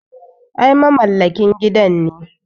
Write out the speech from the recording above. Ai mamallakin gidan ne.